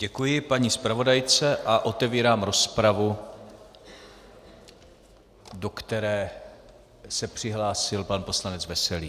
Děkuji paní zpravodajce a otevírám rozpravu, do které se přihlásil pan poslanec Veselý.